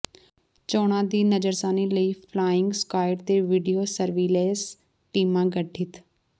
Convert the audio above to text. ਚੋਣਾਂ ਦੀ ਨਜ਼ਰਸਾਨੀ ਲਈ ਫਲਾਇੰਗ ਸੁਕਾਇਡ ਤੇ ਵੀਡੀਓ ਸਰਵੀਲੈਂਸ ਟੀਮਾਂ ਗਠਿਤ